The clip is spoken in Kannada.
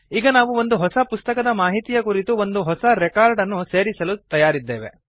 ಈಗ ನಾವು ಒಂದು ಹೊಸ ಪುಸ್ತಕದ ಮಾಹಿತಿಯ ಕುರಿತು ಒಂದು ಹೊಸ ರೆಕಾರ್ಡ್ ಅನ್ನು ಸೇರಿಸಲು ತಯಾರಿದ್ದೇವೆ